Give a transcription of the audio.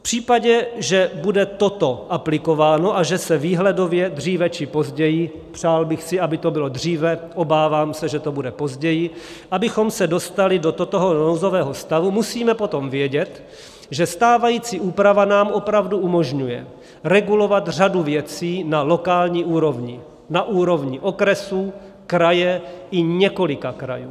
V případě, že bude toto aplikováno a že se výhledově dříve či později, přál bych si, aby to bylo dříve, obávám se, že to bude později, abychom se dostali do toho nouzového stavu, musíme potom vědět, že stávající úprava nám opravdu umožňuje regulovat řadu věcí na lokální úrovni, na úrovni okresů, kraje i několika krajů.